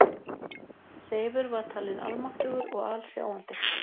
Seifur var talin almáttugur og alsjáandi.